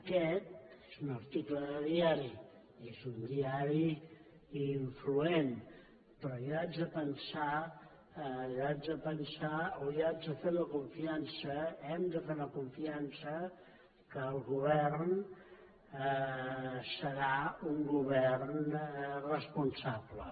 aquest és un article de diari és un diari influent però jo haig de pensar o haig de fer la confiança hem de fer la confiança que el govern serà un govern responsable